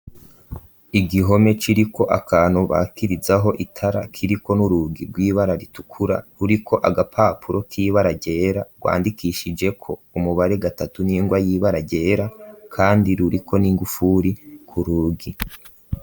Igihome ciriko akantu bakirizaho itara kiriko ni'urugi rw'ibara ritukura ruriko agapapuro kiba aragyera rwandikishijeko umubare gatatu n'ingwa yiba aragyera, kandi ruriko n'ingufuri ku rugi.